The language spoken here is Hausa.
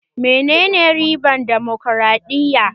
Menene ribar damokaraɗiya?